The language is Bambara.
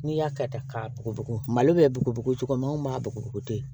N'i y'a kɛ tan k'a bugubugu malo bɛ bugubugu cogo min anw maa bugɔ tɛ yen